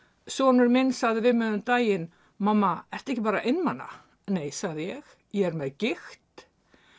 sonur minn sagði við mig um daginn mamma ertu ekki bara einmana nei sagði ég ég er með gigt